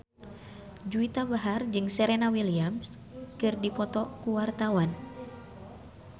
Juwita Bahar jeung Serena Williams keur dipoto ku wartawan